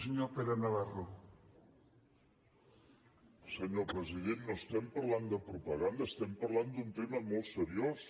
senyor president no estem parlant de propaganda estem parlant d’un tema molt seriós